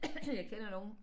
Jeg kender nogen